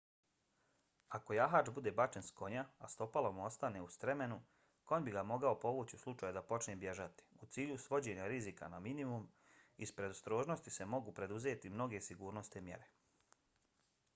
ako jahač bude bačen s konja a stopalo mu ostane u stremenu konj bi ga mogao povući u slučaju da počne bježati. u cilju svođenja rizika na minimum iz predostrožnosti se mogu preduzeti mnoge sigurnosne mjere